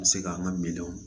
Bɛ se k'an ka minɛnw